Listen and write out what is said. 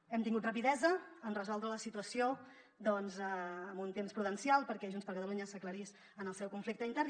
hem tingut rapidesa en resoldre la situació en un temps prudencial perquè junts per catalunya s’aclarís en el seu conflicte intern